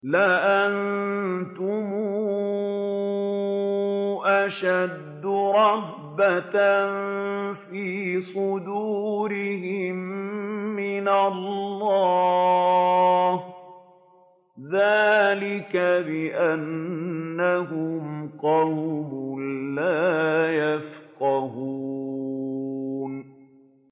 لَأَنتُمْ أَشَدُّ رَهْبَةً فِي صُدُورِهِم مِّنَ اللَّهِ ۚ ذَٰلِكَ بِأَنَّهُمْ قَوْمٌ لَّا يَفْقَهُونَ